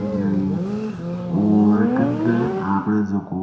और कने आपरे जको